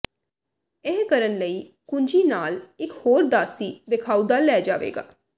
ਇਹ ਕਰਨ ਲਈ ਕੁੰਜੀ ਨਾਲ ਇੱਕ ਹੋਰ ਦਾਸੀ ਵੇਖਾਉਦਾ ਲੈ ਜਾਵੇਗਾ